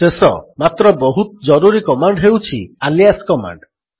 ଶେଷ ମାତ୍ର ବହୁତ ଜରୁରୀ କମାଣ୍ଡ୍ ହେଉଛି ଆଲିଆସ୍ କମାଣ୍ଡ୍